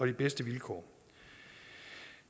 de bedste vilkår